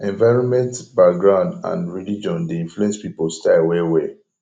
environment background and religion de influence pipo style well well